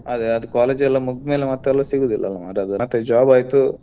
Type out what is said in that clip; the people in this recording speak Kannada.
ಅದೇ ಅದು college ಎಲ್ಲಾ ಮುಗ್ದ್ ಮೇಲೆ ಮತ್ತೆಲ್ಲಾ ಸಿಗುದಿಲ್ಲಲ ಅದು ಮಾರ್ರೆ ಮತ್ತೆ job ಆಯ್ತು.